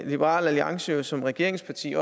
liberal alliance jo som regeringsparti